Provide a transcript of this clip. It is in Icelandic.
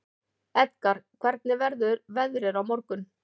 Edgar, hvernig verður veðrið á morgun?